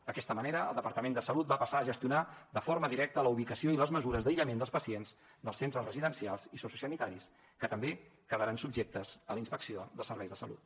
d’aquesta manera el departament de salut va passar a gestionar de forma directa la ubicació i les mesures d’aïllament dels pacients dels centres residencials i sociosanitaris que també quedaran subjectes a la inspecció dels serveis de salut